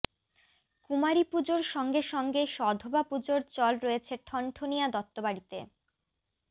কুমারী পুজোর সঙ্গে সঙ্গে সধবা পুজোর চল রয়েছে ঠনঠনিয়াা দত্তবাড়িতে